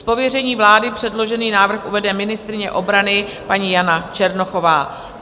Z pověření vlády předložený návrh uvede ministryně obrany paní Jana Černochová.